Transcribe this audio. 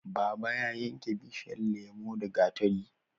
Baba ya yanke bishiyan lemo da gatari